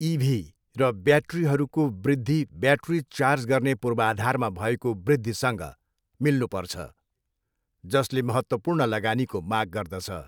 इभी र ब्याट्रीहरूको वृद्धि ब्याट्री चार्ज गर्ने पूर्वाधारमा भएको वृद्धिसँग मिल्नुपर्छ, जसले महत्त्वपूर्ण लगानीको माग गर्दछ।